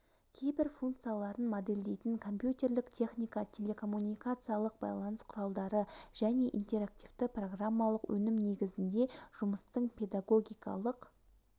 кейбір функцияларын модельдейтін компьютерлік техника телекоммуникациялық байланыс құралдары және интерактивті программалық өнім негізінде жұмыстың педагогикалық